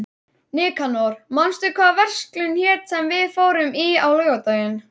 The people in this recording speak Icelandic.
Nikanor, manstu hvað verslunin hét sem við fórum í á laugardaginn?